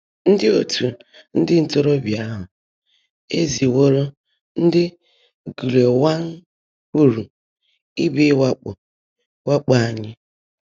Ndị́ Ọ̀tú́ Ndị́ Ntọ́róóbị́á áhụ́ ézị́wóró ndị́ Gùlèèwã́ńkùlù ị́bịá wã́kpọ́ wã́kpọ́ ányị́.